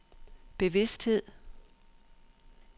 bevidsthed